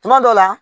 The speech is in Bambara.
Kuma dɔ la